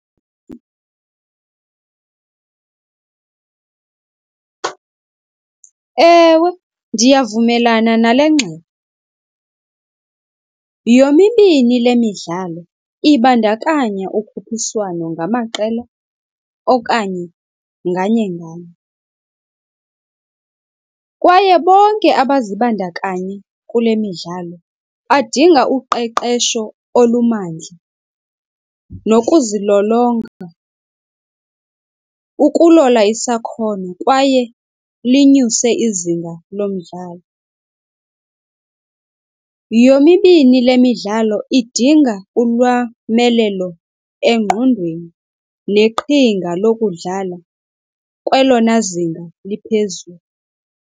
Ewe, ndiyavumelana nale ngxelo. Yomibini le midlalo ibandakanya ukhuphiswano ngamaqela okanye nganye-nganye, kwaye bonke abazibandakanyi kule midlalo badinga uqeqesho olumandla nokuzilolonga, ukulola isakhono kwaye linyuse izinga lomdlalo. Yomibini le midlalo idinga ulwamelelo engqondweni neqhinga lokudlala kwelona zinga liphezulu.